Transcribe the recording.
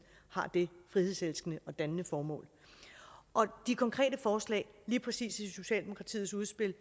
har det frihedselskende og dannende formål om de konkrete forslag lige præcis i socialdemokratiets udspil